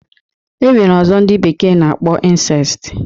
E nwere ọzọ ndị bekee na-akpọ insest.